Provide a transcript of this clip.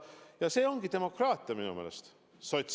Ja see ongi minu meelest demokraatia.